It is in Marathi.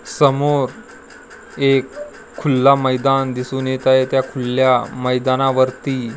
समोर एक खुल्ला मैदान दिसून येतं आहे. त्या खुल्या मैदानावरती--